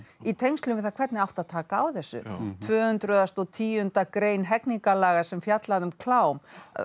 í tengslum við það hvernig átti að taka á þessu tvö hundruð og tíundu grein hegningarlaga sem fjallaði um klám